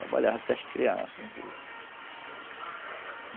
Trabalhava até as crianças.